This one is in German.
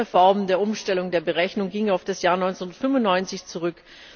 Die letzte Reform der Umstellung der Berechnung ging auf das Jahr 1995 zurück.